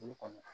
Olu kɔni na